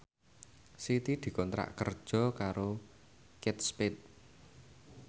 Siti dikontrak kerja karo Kate Spade